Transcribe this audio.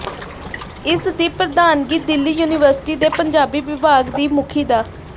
ਇਸ ਦੀ ਪ੍ਰਧਾਨਗੀ ਦਿੱੱਲੀ ਯੂਨੀਵਰਸਿਟੀ ਦੇ ਪੰਜਾਬੀ ਵਿਭਾਗ ਦੀ ਮੁਖੀ ਡਾ